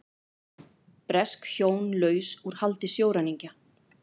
Bresk hjón laus úr haldi sjóræningja